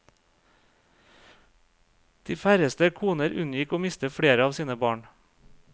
De færreste koner unngikk å miste flere av sine barn.